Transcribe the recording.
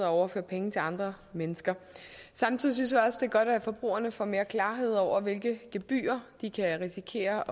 overføre penge til andre mennesker samtidig synes jeg også det er godt at forbrugerne får mere klarhed over hvilke gebyrer de kan risikere